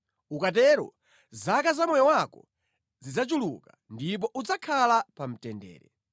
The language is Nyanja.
Ukatero zaka za moyo wako zidzachuluka ndipo udzakhala pa mtendere.